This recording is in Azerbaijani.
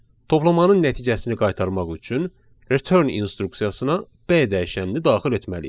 Toplamanın nəticəsini qaytarmaq üçün return instruksiyasına B dəyişənini daxil etməliyik.